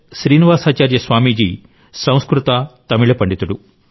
శ్రీనివాసాచార్య స్వామీజీ సంస్కృత తమిళ పండితుడు